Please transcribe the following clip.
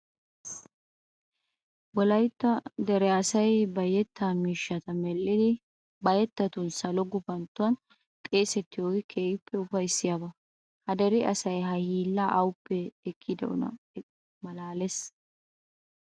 Wolaytta dere asay ba yettaa miishshata medhdhidi ba yettatun salo gufanttuwan xeesettidoogee keehippe ufayssiyaba. Ha dere asay ha hiillaa awuppe ekkidaakkonne maalaalees.